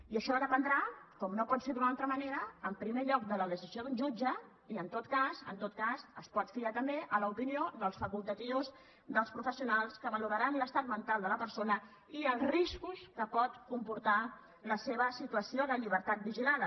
i això dependrà com no pot ser d’una altra manera en primer lloc de la decisió d’un jutge i en tot cas en tot cas es pot fiar també a l’opinió dels facultatius dels professionals que valoraran l’estat mental de la persona i els riscos que pot comportar la seva situació de llibertat vigilada